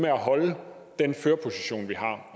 at holde den førerposition vi har